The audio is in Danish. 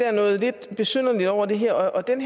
er noget lidt besynderligt over det her og den